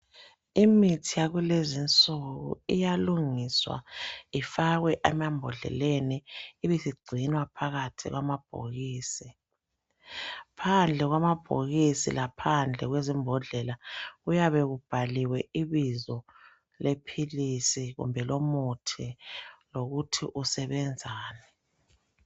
Imithi yakulezinsuku iyalungiswa ifakwe emambodleleni ibisigcinwa phakathi kwamabhokisi. Phandle kwamabhokisi laphandle kwezimbodlela kuyabe kubhaliwe ibizo lomuthi lokuthi usebenzani.